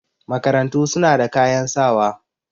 Makarantu su na da kayan wasa.